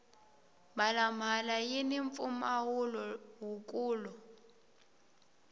mhala mhala yini mpfumawulo wu kulu